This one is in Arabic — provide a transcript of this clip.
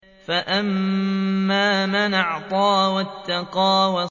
فَأَمَّا مَنْ أَعْطَىٰ وَاتَّقَىٰ